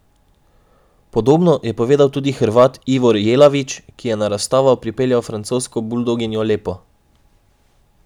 Podobno je povedal tudi Hrvat Ivor Jelavić, ki je na razstavo pripeljal francosko buldoginjo Lepo.